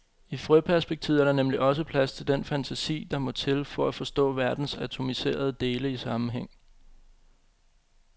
I frøperspektivet er der nemlig også plads til den fantasi, der må til for at forstå verdens atomiserede dele i sammenhæng.